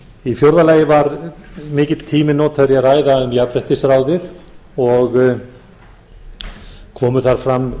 í fjórða lagi var mikill tími notaður í að ræða um jafnréttisráðið og komu þar fram